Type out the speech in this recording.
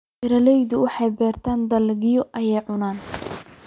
Beeraleydu waxay beertaan dalagyo ay cunaan.